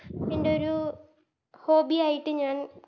ത്ൻറെരു Hobby ആയിട്ട് ഞാൻ